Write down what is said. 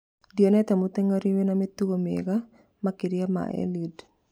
Ndionete mũteng'eri wĩna mĩtugo mĩega makĩria ma Eliud